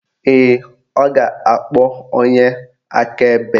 Ee, ọ ga-akpọ onye akaebe